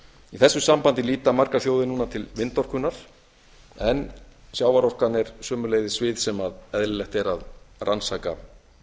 í þessu sambandi líta margar þjóðir núna til vindorkunnar en sjávarorkan er sömuleiðis svið sem eðlilegt er að rannsaka